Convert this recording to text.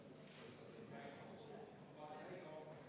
See on arvestatud täielikult.